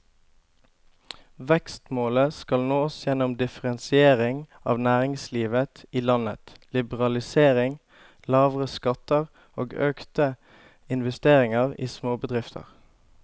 Vekstmålet skal nås gjennom differensiering av næringslivet i landet, liberalisering, lavere skatter og økte investeringer i småbedrifter.